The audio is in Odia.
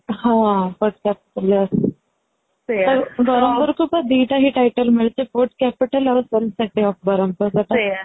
ହଁ ବରମପୁର କୁ ବା ଦିଟା ହି title ମିଳିଛି food capital ଆଉ of ବରମପୁର